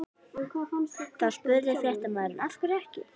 Þá spurði fréttamaður: Af hverju ekki?